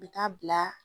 U bɛ taa bila